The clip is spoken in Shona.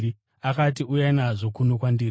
Akati, “Uyai nazvo kuno kwandiri.”